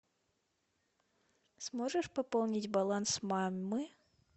сможешь пополнить баланс мамы